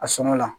A sɔngɔ la